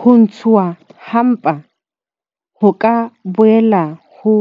Ho ntshuwa ha mpa ho ka boela ha